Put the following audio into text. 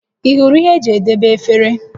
Ị hụrụ ihe eji edebe efere?